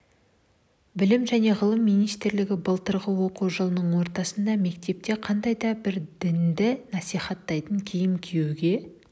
білім және ғылым министрлігі былтырғы оқу жылының ортасында мектепте қандай да бір дінді насихаттайтын киім киюге